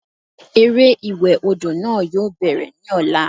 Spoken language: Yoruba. Eré ìwẹ̀ odò náà yóò bẹ̀rẹ̀ ní ọ̀la